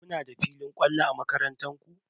Kuna da filin kwallon a makarantar ku?